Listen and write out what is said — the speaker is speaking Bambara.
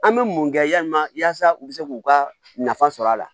An bɛ mun kɛ yalima yaasa u bɛ se k'u ka nafa sɔrɔ a la